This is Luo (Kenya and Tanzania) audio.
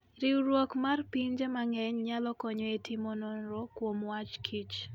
Riwruok mar pinje mang'eny nyalo konyo e timo nonro kuom wach Kich.